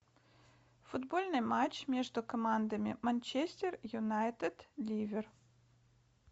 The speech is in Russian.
футбольный матч между командами манчестер юнайтед ливер